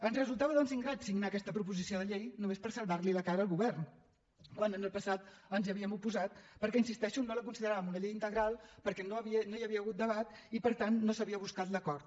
ens resultava doncs ingrat signar aquesta proposició de llei només per salvarli la cara al govern quan en el passat ens hi havíem oposat perquè hi insisteixo no la consideràvem una llei integral perquè no hi havia hagut debat i per tant no s’havia buscat l’acord